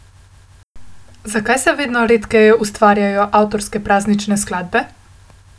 Zakaj se vedno redkeje ustvarjajo avtorske praznične skladbe?